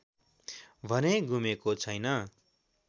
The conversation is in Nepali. भने गुमेको छैन